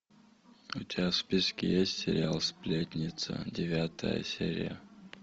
у тебя в списке есть сериал сплетница девятая серия